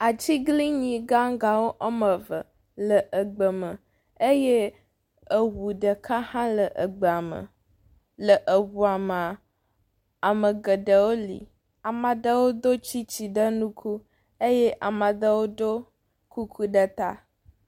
Atiglinyi gagãwo wɔme eve le egbe me eye eŋu ɖeka hã le eŋua me. Le eŋua me ame geɖewo li. Ame aɖewo ɖo tsitsi ɖe ŋku eye ame aɖewo ɖo kuku ɖe ta.